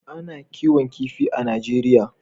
A na kiwon kifi a najeriya